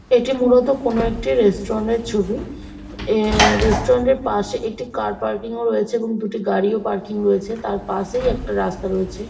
এটি মূলত কোনো একটি রেস্টুরেন্টের এর ছবি রেস্টুরেন্টের পাশে একটি কার পার্কিং ও রয়েছে এবং দুটি গাড়িও পার্কিং রয়েছে তার পাশেই একটা রাস্তা রয়েছে।